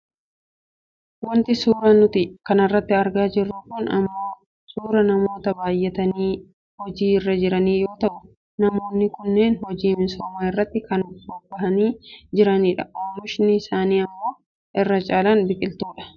Wanti nuti suuraa kanarratti argaa jirru kun ammoo suuraa namoota baayyatanii hojii irra jiranii yoo ta'u., namoonni kunneen hojii misoomaa irratti kan bobbahanii jiranidha. Oomishni isaanii ammoo irra caalaan biqiltuudha.